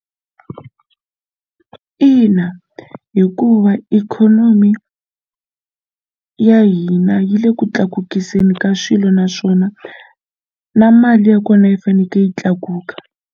Ina hikuva ikhonomi ya hina yi le ku tlakukiseni ka swilo naswona na mali ya kona yi faneke yi tlakuka.